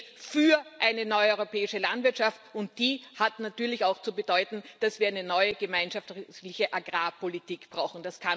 Es geht für eine neue europäische Landwirtschaft, und die hat natürlich auch zu bedeuten, dass wir eine neue gemeinschaftliche Agrarpolitik brauchen.